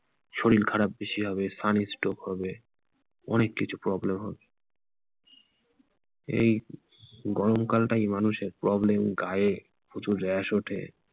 শরীর খারাপ বেশি হবে sun strock হবে অনেক কিছু problem হবে এই গরম কাল টাই মানুষের problem গায়ে প্রচুর rash ওঠে